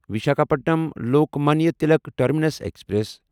Visakhapatnam Lokmanya Tilak terminus express